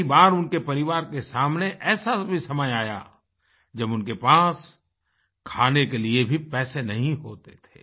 कई बार उनके परिवार के सामने ऐसा भी समय आया जब उनके पास खाने के लिए भी पैसे नहीं होते थे